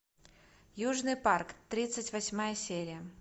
южный парк тридцать восьмая серия